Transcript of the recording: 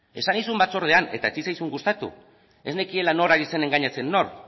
esan nizun batzordean eta ez zitzaizun gustatu ez nekiela nor ari zen engainatzen nor